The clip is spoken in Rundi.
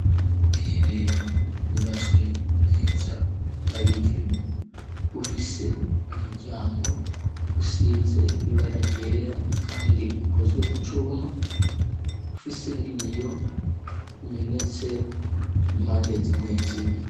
ubwiherero bwubatswe neza bw'abigeme , bufise umuryango usize ibara ryera , kandi ukozwe mu cuma , ufise n'ibiyo bimenetse impande zimwe zimwe.